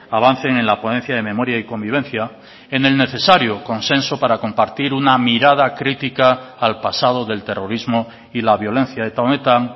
avancen en la ponencia de memoria y convivencia en el necesario consenso para compartir una mirada crítica al pasado del terrorismo y la violencia eta honetan